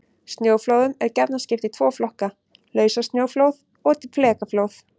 Snjóflóðum er gjarnan skipt í tvo flokka: Lausasnjóflóð og flekaflóð.